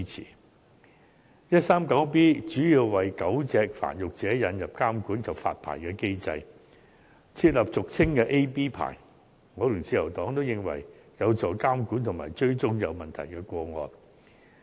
第 139B 章主要是為狗隻繁育者引入監管及發牌的機制，設立俗稱的 A、B 牌，我與自由黨均認為此舉有助監管及追蹤有問題的個案。